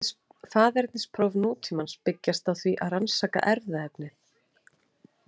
Faðernispróf nútímans byggjast á því að rannsaka erfðaefnið.